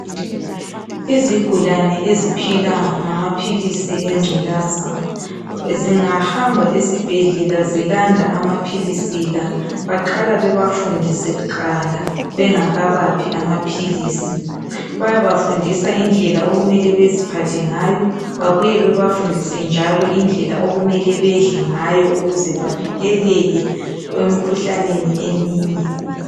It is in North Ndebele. izigulane eiphila ngamaphilisi enculaza zingahamba esibhedlela zilanda amaphilisi la baqala bebafundise kuqala bengakabaphi amaphilisi bayabafundisa indlela okumele beziphathe ngayo babuye bebafundise njalo indlela okumele bedle ngayo ukuze bavikeleke emkhuhlaneni eminye